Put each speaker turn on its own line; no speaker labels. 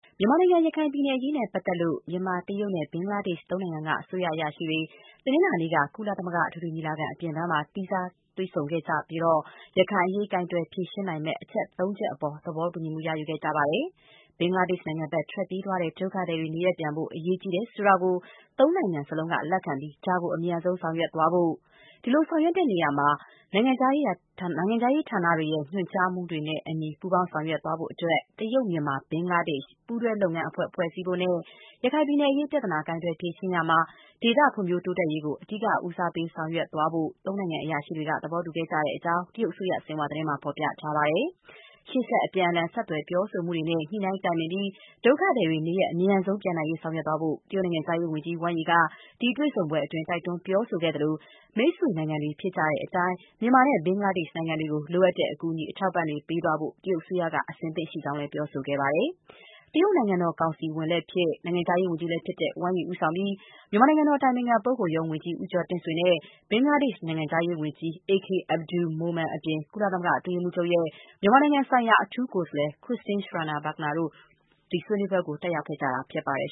မြန်မာနိုင်ငံ ရခိုင်ပြည်နယ်အရေးနဲ့ပတ်သက်လို့ မြန်မာ၊ တရုတ်နဲ့ ဘင်္ဂလားဒေ့ရှ် သုံးနိုင်ငံက အစိုးရအရာရှိတွေ တနင်္လာနေ့က ကုလသမဂ္ဂ အထွေထွေညီလာခံ အပြန်ဘန်းမှာ သီးခြားတွေ့ဆုံခဲ့ကြပြီး ရခိုင်အရေး ကိုင်တွယ်ဖြေရှင်းနိုင်မယ့် အချက်သုံးချက်အပေါ် သဘောတူညီမှု ရယူခဲ့ကြပါတယ်။ ဘင်္ဂလားဒေ့ရှ်နိုင်ငံဘက် ထွက်ပြေးသွားတဲ့ ဒုက္ခသည်တွေနေရပ်ပြန်ဖို့ အရေးကြီးတယ်ဆိုတာကို သုံးနိုင်ငံစလုံးက လက်ခံပြီး ဒါကို အမြန်ဆုံးဆောင်ရွက်သွားဖို့၊ ဒီလိုဆောင်ရွက်ရာမှာ နိုင်ငံခြားရေးဌာနတွေရဲ့ ညွန်ကြားမှုတွေနဲ့အညီ ပူးပေါင်းဆောင်ရွက် သွားနိုင်ဖို့အတွက် တရုတ်-မြန်မာ-ဘင်္ဂလားဒေ့ရှ် ပူးတွဲလုပ်ငန်းအဖွဲ့ ဖွဲ့စည်းဖို့နဲ့ ရခိုင်ပြည်နယ်အရေး ပြဿနာ ကိုင်တွယ်ဖြေရှင်းရာမှာ ဒေသ ဖွံ့ဖြိုး တိုးတက်ရေးကို အဓိက ဦးစားပေးဆောင်ရွက်သွားဖို့ သုံးနိုင်ငံကအရာရှိတွေ သဘောတူခဲ့ကြတဲ့အကြောင်း တရုတ်အစိုးရ Xinhua သတင်းမှာ ဖော်ပြထားပါတယ်။ ရှေ့ဆက် အပြန်အလှန် ဆက်သွယ်ပြောဆိုမှုတွေနဲ့ ညှိနှိုင်းတိုင်ပင်ပြီး ဒုက္ခသည်တွေ နေရပ် အမြန်ဆုံး ပြန်နိုင်ရေး ဆောင်ရွက်သွားဖို့ တရုတ်နိုင်ငံခြားရေးဝန်ကြီး Wang Yi က ဒီတွေ့ဆုံပွဲအတွင်း တိုက်တွန်း ပြောဆိုခဲ့သလို၊ မိတ်ဆွေ နိုင်ငံတွေ ဖြစ်ကြတဲ့အတိုင်း မြန်မာနဲ့ ဘင်္ဂလားဒေ့ရှ်နိုင်ငံတွေကို လိုအပ်တဲ့ အကူအညီ အထောက်အပံ့တွေ ပေးသွားဖို့ တရုတ်အစိုးရက အဆင်သင့် ရှိကြောင်းလည်း ပြောဆိုခဲ့ပါတယ်။ တရုတ် နိုင်ငံတော် ကောင်စီဝန်လည်းဖြစ်၊ နိုင်ငံခြားရေးဝန်ကြီးလည်းဖြစ်တဲ့ Wang Yi ဦးဆောင်ပြီး မြန်မာနိုင်ငံတော် အတိုင်ပင်ခံပုဂ္ဂိုလ်ရုံး ဝန်ကြီး ဦးကျော်တင့်ဆွေ နဲ့ ဘင်္ဂလားဒေ့ရှ်နိင်ငံခြားရေးဝန်ကြီး AK Abdul Momen အပြင် ကုလသမဂ္ဂ အတွင်းရေးမှူးချုပ်ရဲ့ မြန်မာနိုင်ငံဆိုင်ရာ အထူးကိုယ်စားလှယ် Christine Schraner Burgener တို့ ဆွေးနွေးပွဲကို တက်ရောက်ခဲ့ကြတာ ဖြစ်ပါတယ်